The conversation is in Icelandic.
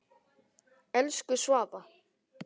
Elsku Svava.